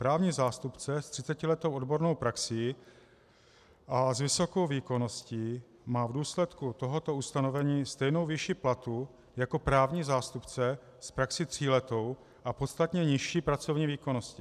Právní zástupce s 30letou odbornou praxí a s vysokou výkonností má v důsledku tohoto ustanovení stejnou výši platu jako právní zástupce s praxí tříletou a podstatně nižší pracovní výkonností.